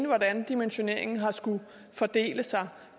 hvordan dimensioneringen har skullet fordele sig